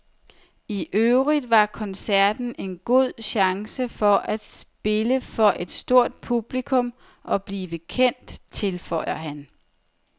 I øvrigt var koncerten en god chance for at spille for et stort publikum og blive kendt, tilføjer han.